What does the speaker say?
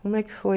Como é que foi?